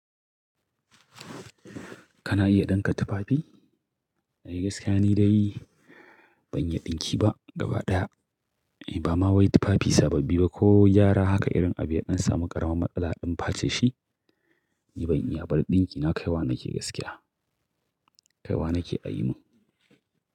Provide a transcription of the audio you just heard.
Kana iya ɗinka tufafi? Ni gaskiya ni dai ban iya ɗinki ba gaba ɗaya. Ni ba ma wai tufafi sababbi ba ko gyara haka irin abin ya ɗan samu ƙaraman matsala in face shi, ni ban iya ba. Dinki na kai wa nake gaskiya. Kai wa nake a yi min.